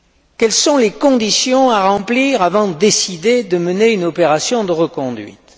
Quelles sont les conditions à remplir avant de décider de mener une opération de reconduite?